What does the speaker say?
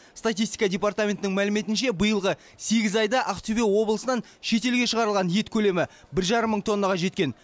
статистика департаментінің мәліметінше биылғы сегіз айда ақтөбе облысынан шет елге шығарылған ет көлемі бір жарым мың тоннаға жеткен